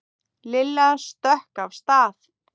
Lilla stökk af stað.